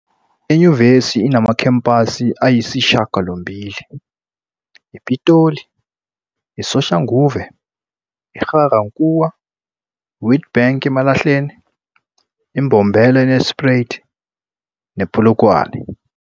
Inyuvesi inamakhampasi ayisishiyagalombili- iPitoli, iSoshanguve, iGa-Rankuwa, iWitbank, eMalahleni, iMbombela, Nelspruit, nePolokwane.